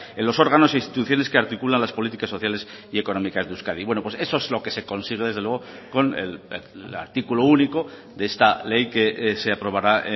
en los órganos e instituciones que articula las políticas sociales y económicas de euskadi bueno pues eso es lo que se consigue desde luego con el artículo único de esta ley que se aprobará